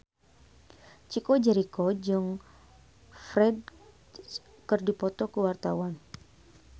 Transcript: Chico Jericho jeung Ferdge keur dipoto ku wartawan